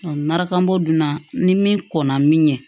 Marakbɔ dunan ni min kɔnna min ye